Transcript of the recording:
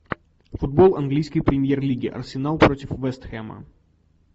футбол английской премьер лиги арсенал против вест хэма